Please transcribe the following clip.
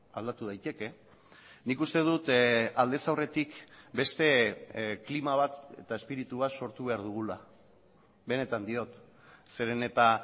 aldatu daiteke nik uste dut aldez aurretik beste klima bat eta espiritu bat sortu behar dugula benetan diot zeren eta